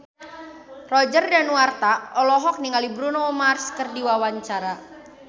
Roger Danuarta olohok ningali Bruno Mars keur diwawancara